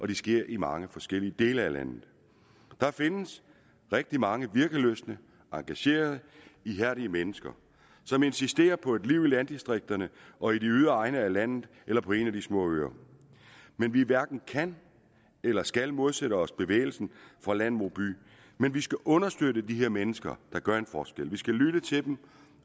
de sker i mange forskellige dele af landet der findes rigtig mange virkelystne og engagerede ihærdige mennesker som insisterer på et liv i landdistrikterne og i de ydre egne af landet eller på en af de små øer vi hverken kan eller skal modsætte os bevægelsen fra land mod by men vi skal understøtte de her mennesker der gør en forskel vi skal lytte til dem